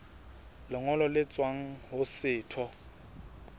lengolo le tswang ho setho